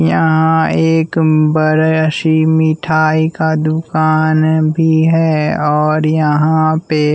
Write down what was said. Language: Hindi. यहाँ एक बरा सी मिठाई का दुकान भी है और यहाँ पे--